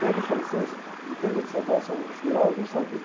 Pega o francês, o degré de savoir são os graus do saber.